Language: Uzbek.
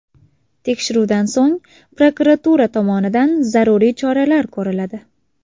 Tekshiruvdan so‘ng, prokuratura tomonidan zaruriy choralar ko‘riladi.